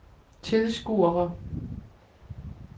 tilskuere